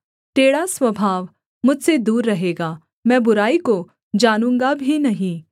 टेढ़ा स्वभाव मुझसे दूर रहेगा मैं बुराई को जानूँगा भी नहीं